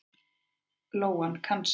Lóan kann sig.